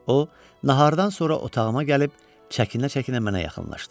O, nahardan sonra otağıma gəlib çəkinə-çəkinə mənə yaxınlaşdı.